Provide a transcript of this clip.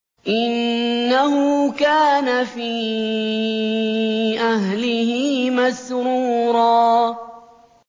إِنَّهُ كَانَ فِي أَهْلِهِ مَسْرُورًا